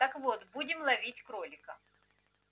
так вот будем ловить кролика